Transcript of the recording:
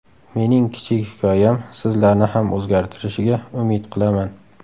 Mening kichik hikoyam sizlarni ham o‘zgartirishiga umid qilaman.